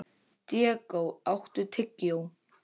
Diego, áttu tyggjó?